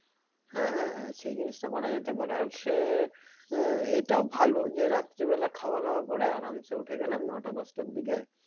হ্যাঁ হ্যাঁ হ্যাঁ সেই জিনিসটা করা যেতে পারে আর আহ এর এটাও ভালো যে রাত্রে বেলা খাওয়া দাওয়া করে আরামসে উঠে গেলাম নয়টা দশ টার দিকে